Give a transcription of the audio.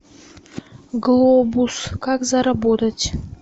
глобус как заработать